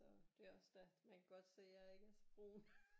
Så det er også da man kan godt se at jeg ikke er så brun